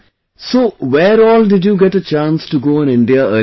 So where all did you get a chance to go in India earlier